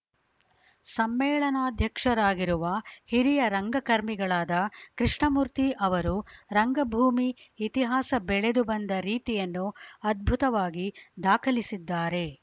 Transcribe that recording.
ಸಮೇಳನಾಧ್ಯಕ್ಷರಾಗಿರುವ ಹಿರಿಯ ರಂಗಕರ್ಮಿಗಳಾದ ಕೃಷ್ಣಮೂರ್ತಿ ಅವರು ರಂಗಭೂಮಿ ಇತಿಹಾಸ ಬೆಳೆದು ಬಂದ ರೀತಿಯನ್ನು ಅದ್ಭುತವಾಗಿ ದಾಖಲಿಸಿದ್ದಾರೆ